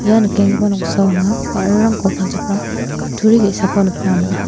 ia nikenggipa noksao anga ba·rarangko palchakram kutturi ge·sako nikna man·a.